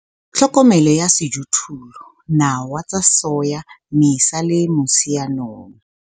TLHOKOMELO YA SEJOTHOLLO nawe tsa soya Mmesa le Motsheanong